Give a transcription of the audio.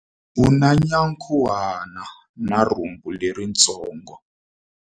U na nyankhuhana na rhumbu leritsongo.